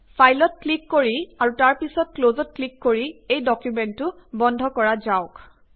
ফাইলত ক্লিক কৰি আৰু তাৰ পিছত ক্লজত ক্লিক কৰি এই ডকুমেন্টতো বন্ধ কৰা যাওঁক